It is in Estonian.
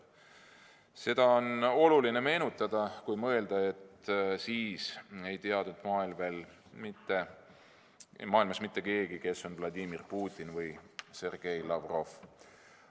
" Seda on oluline meenutada, kui mõelda, et siis ei teadnud maailmas veel mitte keegi, kes on Vladimir Putin või Sergei Lavrov.